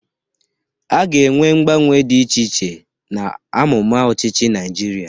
A ga-enwe mgbanwe dị iche iche n'amụma ọchịchị Naịjirịa.